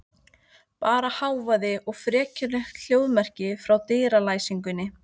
Bara hávaði og frekjulegt hljóðmerki frá dyralæsingunni.